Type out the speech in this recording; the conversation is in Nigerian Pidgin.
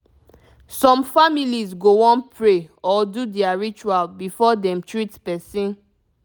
some families go wan pray or do their ritual before dem treat person